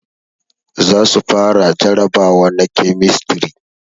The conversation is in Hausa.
Za su fara jarabawa na kemistri